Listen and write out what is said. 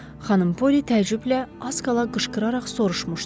Xanım Poli təəccüblə az qala qışqıraraq soruşmuşdu.